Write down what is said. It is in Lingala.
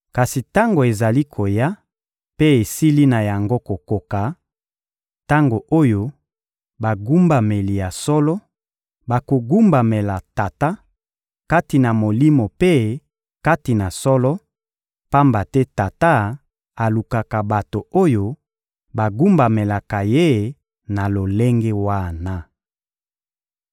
Kasi tango ezali koya mpe esili na yango kokoka, tango oyo bagumbameli ya solo bokogumbamela Tata, kati na Molimo mpe kati na solo; pamba te Tata alukaka bato oyo bogumbamelaka Ye na lolenge wana.